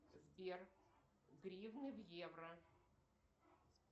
сбер гривны в евро